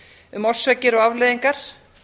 um orsakir og afleiðingar